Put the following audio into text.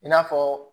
I n'a fɔ